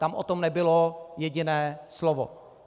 Tam o tom nebylo jediné slovo.